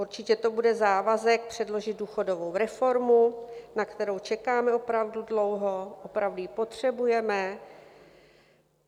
Určitě to bude závazek předložit důchodovou reformu, na kterou čekáme opravdu dlouho, opravdu ji potřebujeme.